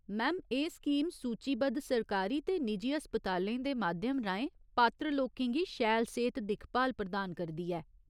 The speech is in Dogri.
मैम, एह् स्कीम सूचीबद्ध सरकारी ते निजी अस्पतालें दे माध्यम राहें पात्र लोकें गी शैल सेह्त दिक्खभाल प्रदान करदी ऐ।